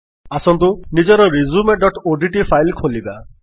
ଆସନ୍ତୁ ନିଜର resumeଓଡିଟି ଫାଇଲ୍ ଖୋଲିବା